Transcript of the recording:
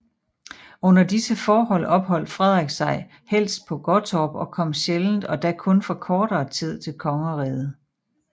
Under disse forhold opholdt Frederik sig helst på Gottorp og kom sjældent og da kun for kortere tid til kongeriget